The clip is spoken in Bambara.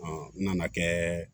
n nana kɛ